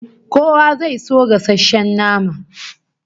Kowa zai so gasasshen nama